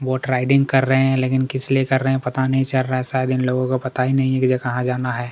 Boat riding कर रहे है लेकिन किस लिए कर रहे है पता नहीं चल रहा है शायद इन लोगो को पता ही नहीं है की कहा जाना है।